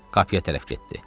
Qapıya tərəf getdi.